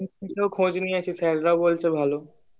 একদুটো খোঁজ নিয়েছি sir রাও বলছে ভালো